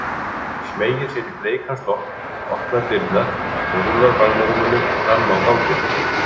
Smeygir sér í bleikan slopp, opnar dyrnar og rúllar barnarúminu fram á ganginn.